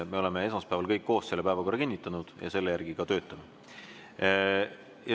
Me oleme esmaspäeval kõik koos selle päevakorra kinnitanud ja selle järgi ka töötame.